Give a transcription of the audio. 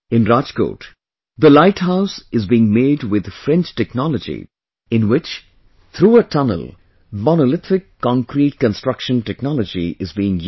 In Rajkot, the Light House is being made with French Technology in which through a tunnel Monolithic Concrete construction technology is being used